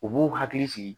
U b'u hakili sigi